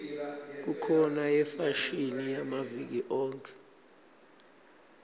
kukhona yefashini yamaviki onkhe